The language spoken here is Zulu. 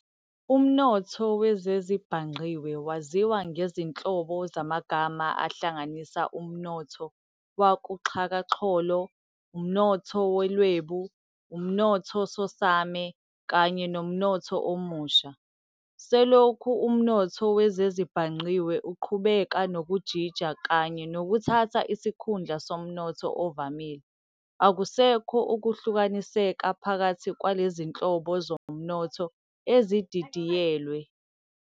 Umnotho wezezibhangqiwe waziwa ngezinhlobo zamagama ahlanganisa umnotho wakuxhakaxholo, umnotho wolwebu, umnothosomane, kanye nomnotho omusha. Selokhi umnotho wezezibhangqiwe uqhubeka nokujija kanye nokuthatha isikhundla somnotho ovamile, akusekho ukuhlukaniseka phakathi kwalezinhobo zomnotho ezididiyelwe.